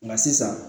Nka sisan